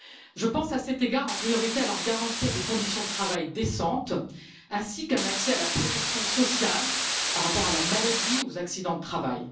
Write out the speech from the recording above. Je pense, à cet égard, en priorité à leur garantir des conditions de travail décentes, ainsi qu'un accès à la protection sociale en cas de maladie ou d'accident du travail.